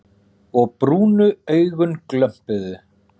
Og brúnu augun glömpuðu.